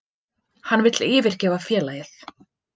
Hann vill yfirgefa félagið.